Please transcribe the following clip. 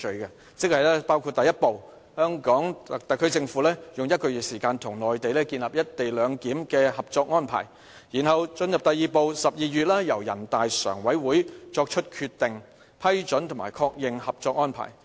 "三步走"包括第一步，香港特區政府用1個月時間與內地建立"一地兩檢"的《合作安排》，然後進入第二步 ，12 月由人大常委會作出決定、批准及確認《合作安排》。